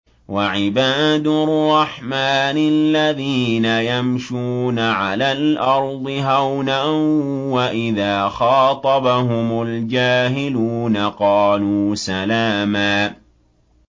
وَعِبَادُ الرَّحْمَٰنِ الَّذِينَ يَمْشُونَ عَلَى الْأَرْضِ هَوْنًا وَإِذَا خَاطَبَهُمُ الْجَاهِلُونَ قَالُوا سَلَامًا